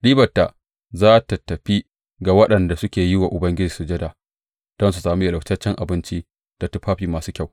Ribarta za tă tafi ga waɗanda suke yi wa Ubangiji sujada, don su sami yalwataccen abinci da tufafi masu kyau.